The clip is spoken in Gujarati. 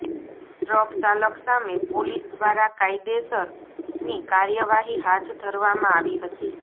ટ્રક ચાલક સામે પોલીસ દ્વારા કાયદેસરની કાર્યવાહી હાથ ધરવામાં આવી હતી